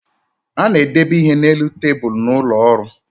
A na-edebe ihe na-elu tabulu n’ụlọọrụ